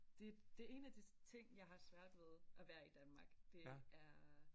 Det det en af de ting jeg har svært ved at være i Danmark det er